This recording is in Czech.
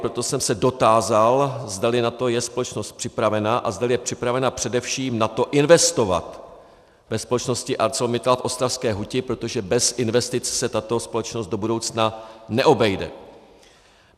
Proto jsem se dotázal, zdali na to je společnost připravena a zdali je připravena především na to investovat ve společnosti ArcelorMittal v ostravské huti, protože bez investic se tato společnost do budoucna neobejde.